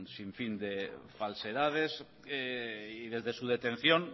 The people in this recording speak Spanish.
sinfín de falsedades y desde su detención